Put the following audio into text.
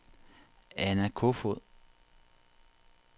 Anna Kofoed